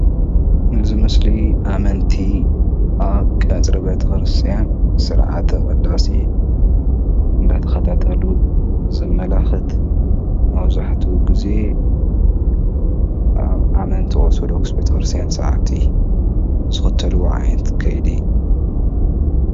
እዚ ምስሊ ኣመንቲ ኣብ ቀፅሪ ቤተክርስትያን ስርዓተ ቅዳሴ እንዳተከታተሉ ዘመላክት መብዛሕትኡ ግዜ ኣብ ኣመንቲ ኦርተዶክስ ቤተክርስትያን ሰዓምቲ ዝክተልዎ ዓይነት ከይዲ እዩ፡፡